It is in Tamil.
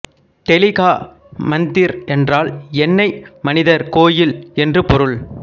தெலி கா மந்திர் என்றால் எண்ணெய் மனிதர் கோயில் என்று பொருள்